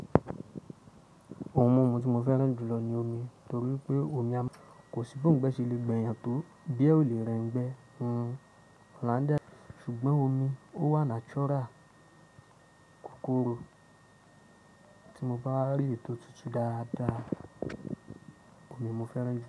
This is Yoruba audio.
Ohun mímu tí mo fẹ́ràn jùlọ ni omi, torí pé omi kò sí bi oungbe ṣe lè gbèyàn tó bíẹ ò lè rẹ ngbẹ. Òòláńdà ṣùgbọ́n omi ó wà natural kòkòrò tí mo bá rí ètò tútù dáadáa, omi mo fẹ́ràn jùl.